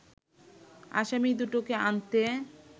আসামী দুটোকে আনতে